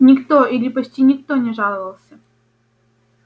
никто или почти никто не жаловался